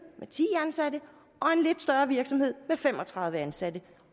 ti ansatte og en lidt større virksomhed med fem og tredive ansatte